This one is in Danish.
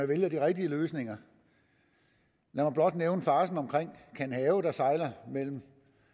vælger de rigtige løsninger lad mig blot nævne farcen omkring kanhave der sejler mellem